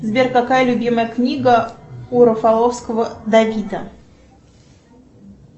сбер какая любимая книга у рафаловского давида